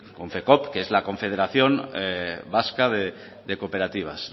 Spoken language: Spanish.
konfekoop que es la confederación vasca de cooperativas